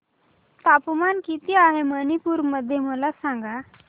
तापमान किती आहे मणिपुर मध्ये मला सांगा